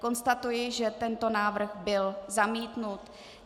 Konstatuji, že tento návrh byl zamítnut.